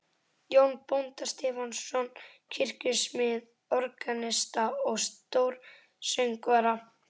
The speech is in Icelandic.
Jón bónda Stefánsson, kirkjusmið, organista og stórsöngvara.